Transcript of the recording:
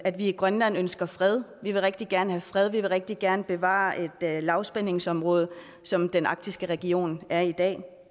i grønland ønsker fred vi vil rigtig gerne have fred vi vil rigtig gerne bevare et lavspændingsområde som den arktiske region er i dag